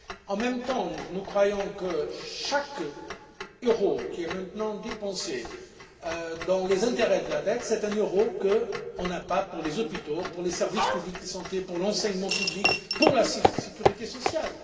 En même temps, nous croyons que chaque euro qui est maintenant dépensé en intérêts de la dette est un euro en moins pour les hôpitaux, pour les services publics de santé, pour l'enseignement public, pour la sécurité sociale.